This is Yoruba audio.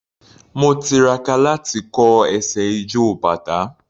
Mo tiraka láti kọ́ ẹsẹ̀ ijó bàtá.